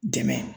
Dɛmɛ